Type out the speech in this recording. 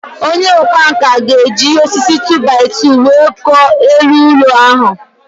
Onye ọkwá nkà ga-eji osisi 2-by-2 wee kụọ elu ụlọ ahụ